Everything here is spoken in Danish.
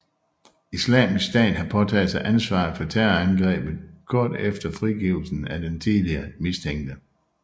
Islamisk stat har påtaget sig ansvaret for terrorangrebet kort efter frigivelsen af den tidligere mistænkte